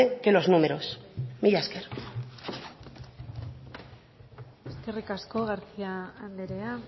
que los números mila esker eskerrik asko garcia andrea